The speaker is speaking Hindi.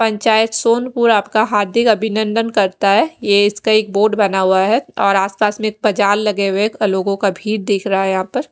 पंचायत सोनपुर आपका हार्दिक अभिनंदन करता है। ये इसका एक बोर्ड बना हुआ है और आसपास में पजाल लगे हुए लोगों का भीड देख रहा है यहां पर।